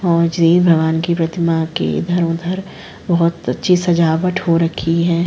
और जृ भगवान की प्रतिमा कि धरोधर बोहोत अच्छी सजावट हो रखी है।